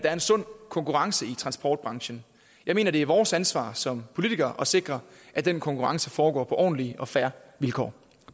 er en sund konkurrence i transportbranchen jeg mener det er vores ansvar som politikere at sikre at den konkurrence foregår på ordentlige og fair vilkår